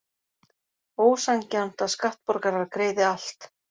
Ósanngjarnt að skattborgarar greiði allt